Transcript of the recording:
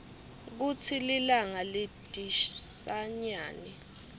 kutsi linga lidhisanyani